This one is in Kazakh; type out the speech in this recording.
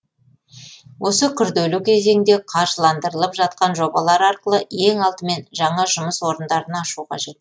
осы күрделі кезеңде қаржыландырылып жатқан жобалар арқылы ең алдымен жаңа жұмыс орындарын ашу қажет